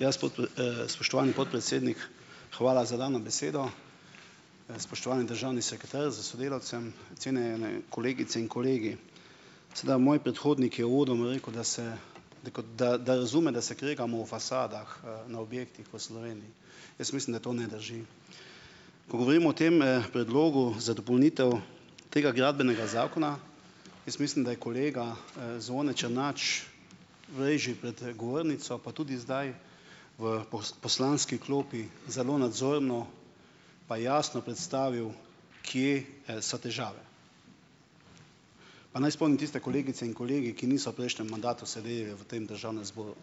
Ja, spoštovani podpredsednik, hvala za dano besedo. Spoštovani državni sekretar s sodelavcem, cenjene kolegice in kolegi. Sedaj, moj predhodnik je uvodoma rekel, da se da kot da, da razume, da se kregamo o fasadah, na objektih v Sloveniji. Jaz mislim, da to ne drži. Ko govorimo o tem, predlogu za dopolnitev tega gradbenega zakona, jaz mislim, da je kolega, Zvone Černač ... včeraj že pred, govornico, pa tudi zdaj v poslanski klopi zelo nadzorno pa jasno predstavil, kje, so težave. Pa naj spomnim tiste kolegice in kolege, ki niso v prejšnjem mandatu sedeli v tem državnem zboru.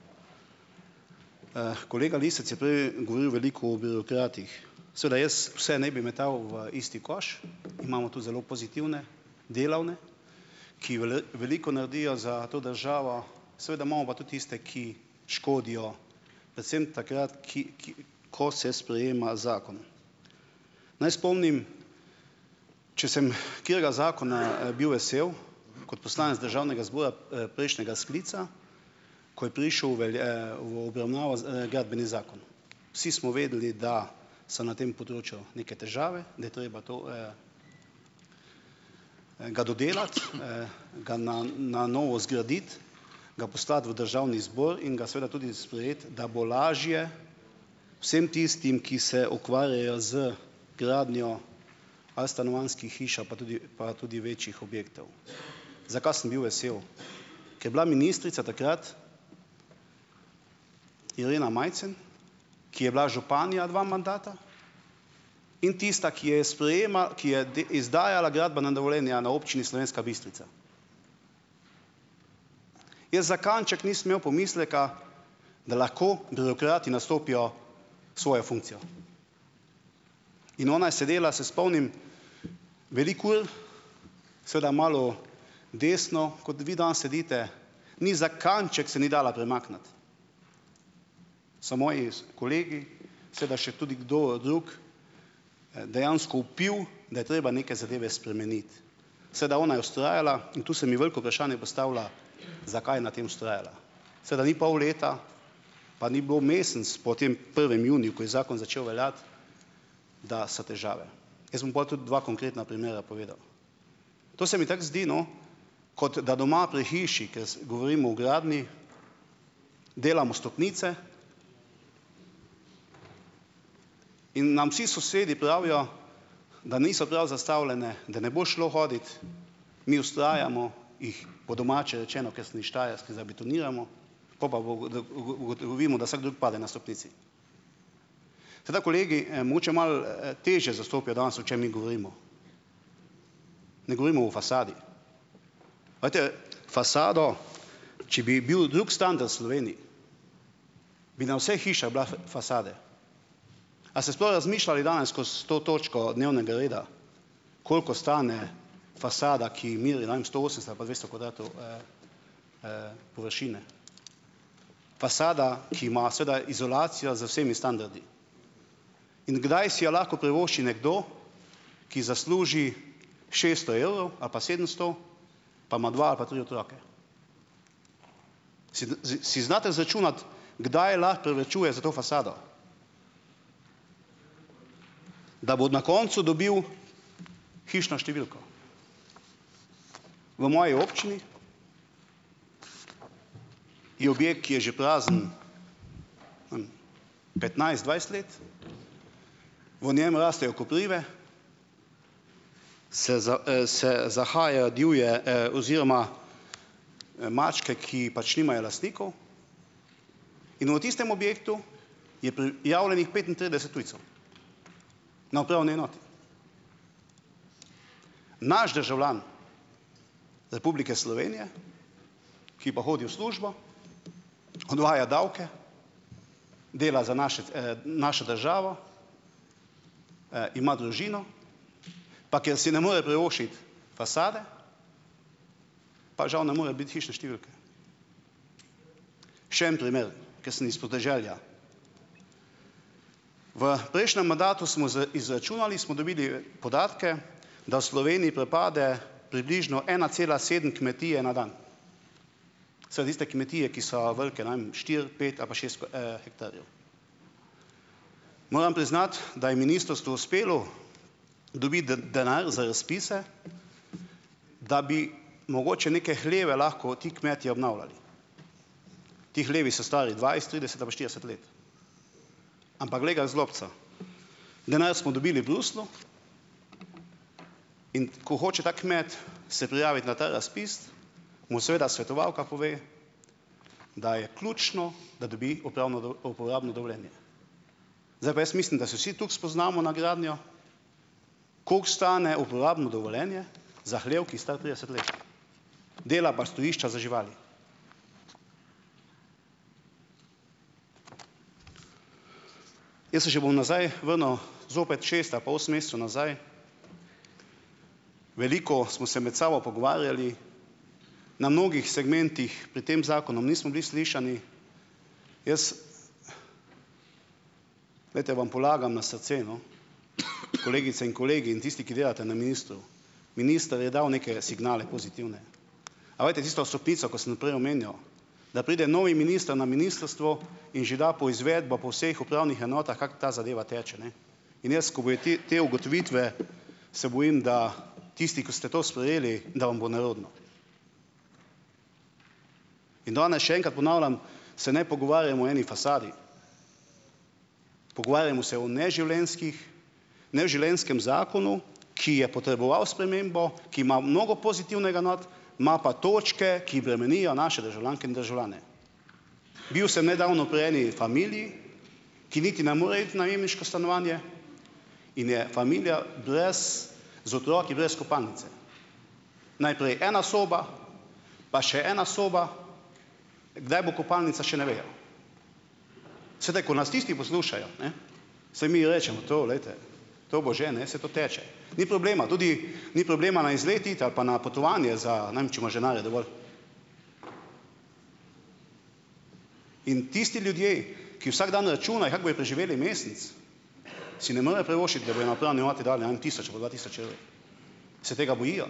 Kolega Lisec je prej govoril veliko o birokratih. Seveda jaz vse ne bi metal v isti koš, imamo tudi zelo pozitivne, delovne, ki veliko naredijo za to državo, seveda imamo pa tudi tiste, ki škodijo predvsem takrat, ki, ki, ko se sprejema zakon. Naj spomnim. Če sem katerega, zakona bil vesel kot poslanec državnega zbora, prejšnjega sklica, ko je prišel v ven obravnavo gradbeni zakon. Vsi smo vedeli, da so na tem področju neke težave, da je treba to, ga dodelati, ga na na novo zgraditi, ga poslati v državni zbor in ga seveda tudi sprejeti, da bo lažje vsem tistim, ki se ukvarjajo z gradnjo ali stanovanjskih hiš ali pa tudi pa tudi večjih objektov. Zakaj sem bil vesel? Ker je bila ministrica takrat Irena Majcen, ki je bila županja dva mandata in tista, ki je ki je izdajala gradbena dovoljenja na občini Slovenska Bistrica. Jaz za kanček nisem imel pomisleka, da lahko birokrati nastopijo svojo funkcijo. In ona je sedela, se spomnim, veliko ur, seveda malo desno, kot vi danes sedite, ni za kanček se ni dala premakniti. So moji kolegi, seveda še tudi kdo drug, dejansko vpil, da je treba neke zadeve spremeniti. Seveda ona je vztrajala in tu se mi veliko vprašanje postavlja, zakaj je na tem vztrajala. Seveda ni pol leta, pa ni bilo mesec po tem prvem juniju, ko je zakon začel veljati, da so težave. Jaz bom pol tudi dva konkretna primera povedal. To se mi tako zdi, no, kot da doma pri hiši, ker govorimo o gradnji, delamo stopnice in nam vsi sosedi pravijo, da niso prav zastavljene, da ne bo šlo hoditi, mi vztrajamo, jih, po domače rečeno, ker sem iz Štajerske, zabetoniramo, pol pa ugotovimo, da vsak drug pade na stopnici. Tako da kolegi, mogoče malo, težje zastopijo danes, o čem mi govorimo. Ne govorimo o fasadi. Glejte, fasado, če bi bil drug standard v Sloveniji, bi na vseh hišah bile fasade. A ste sploh razmišljali danes skozi to točko dnevnega reda, koliko stane fasada, ki meri, ne vem, sto osemdeset ali pa dvesto kvadratov površine? Fasada, ki ima seveda izolacijo z vsemi standardi, in kdaj si jo lahko privošči nekdo, ki zasluži šeststo evrov ali pa sedemsto, pa ima dva ali pa tri otroke? Si sie si znate izračunati, kdaj lahko privarčuje za to fasado? Da bo na koncu dobil hišno številko. V moji občini je objekt, ki je že prazen tam petnajst, dvajset let. V njem rastejo koprive, se se zahajajo divje, oziroma, mačke, ki pač nimajo lastnikov, in v tistem objektu je prijavljenih petintrideset tujcev na upravni enoti. Naš državljan Republike Slovenije, ki pa hodi v službo, oddvaja davke, dela za naše našo državo, ima družino, pa ker si ne more privoščiti fasade, pa žal ne more biti hišne številke. Še en primer, ker sem iz podeželja. V prejšnjem mandatu smo izračunali, smo dobili, podatke, da v Sloveniji propade približno ena cela sedem kmetije na dan. Seveda tiste kmetije, ki so velike, ne vem, štiri, pet ali pa šest hektarjev. Moram priznati, da je ministrstvu uspelo dobiti denar za razpise, da bi mogoče neke hleve lahko ti kmetje obnavljali. Ti hlevi so stari dvajset, trideset ali pa štirideset let. Ampak glej ga "zlobca". Denar smo dobili v Bruslju, in ko hoče ta kmet, se prijaviti na ta razpis, mu seveda svetovalka pove, da je ključno, da dobi upravno uporabno dovoljenje. Zdaj pa jaz mislim, da se vsi toliko spoznamo na gradnjo, koliko stane uporabno dovoljenje za hlev, ki je star trideset let, dela pa stojišča za živali. Jaz se še bom nazaj vrnil, zopet šest ali pa osem mesecev nazaj. Veliko smo se med sabo pogovarjali. Na mnogih segmentih pred tem zakonom nismo bili slišani. Jaz, glejte, vam polagam na srce, no, kolegice in kolegi in tisti, ki delate na ministrstvu, minister je dal neke signale, pozitivne. A veste, tisto stopnico, ko sem prej omenjal, da pride novi minister na ministrstvo in že da poizvedbo po vseh upravnih enotah, kako ta zadeva teče, ne, in jaz, ko bojo ti, te ugotovitve, se bojim, da tisti, ko ste to sprejeli, da vam bo nerodno. In danes še enkrat ponavljam, se ne pogovarjamo o eni fasadi, pogovarjamo se o neživljenjskih neživljenjskem zakonu, ki je potreboval spremembo, ki ima mnogo pozitivnega not, ima pa točke, ki bremenijo naše državljanke in državljane. Bil sem nedavno pri eni familiji, ki niti ne more iti v najemniško stanovanje, in je familija brez, z otroki, brez kopalnice. Najprej ena soba, pa še ena soba, kdaj bo kopalnica, še ne vejo. Sedaj, ko nas tisti poslušajo, ne, saj mi rečemo, to, glejte, to bo že, ne, saj to teče. Ni problema, tudi, ni problema na izlet iti ali pa na potovanje za, ne vem, če imaš denarja dovolj. In tisti ljudje, ki vsak dan računajo, kako bojo preživeli mesec, si ne morejo privoščiti, da bojo na upravni enoti dali, tisoč ali pa dva tisoč evrov. Se tega bojijo.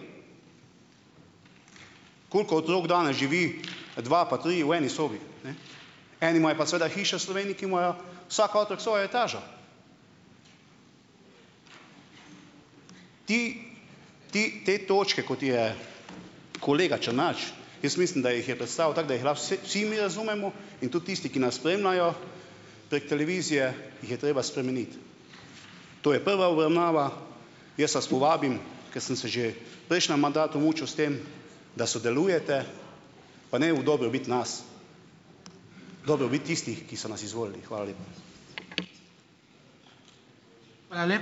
Koliko otrok danes živi dva pa trije v eni sobi, ne. Eni imajo pa seveda hišo v Sloveniji, ki imajo vsak otrok svojo etažo. Ti. Ti, te točke, kot je kolega Črnač, jaz mislim, da jih je predstavil tako, da jih lahko vsi mi razumemo in tudi tisti, ki nas spremljajo prek televizije, jih je treba spremeniti. To je prva obravnava, jaz vas povabim, ko sem se že v prejšnjem mandatu mučil s tem, da sodelujete, pa ne v dobrobit nas, dobrobit tistih, ki so nas izvolili. Hvala lepa.